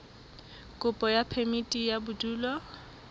kopo ya phemiti ya bodulo